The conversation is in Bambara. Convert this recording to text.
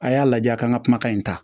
A y'a lajɛ a kan ka kumakan in ta